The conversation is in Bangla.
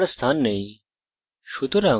কিন্তু তাদের পৃথক করার স্থান নেই